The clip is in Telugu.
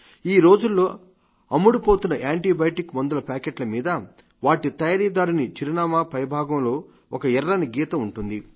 ఈ రోజుల్లో అమ్ముడుపోతున్న యాంటీబయాటిక్ మందుల ప్యాకెట్ల మీద వాటి తయారీదారుని చిరునామా పై భాగంలో ఒక ఎర్రని గీత ఉంటుంది